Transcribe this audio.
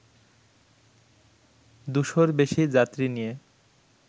দুশোর বেশি যাত্রী নিয়ে